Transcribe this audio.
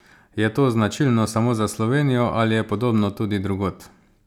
Je to značilno samo za Slovenijo ali je podobno tudi drugod?